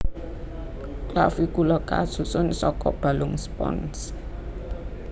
Clavicula kasusun saka balung spons